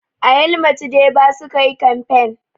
A yamaltu deba sukayi kamfain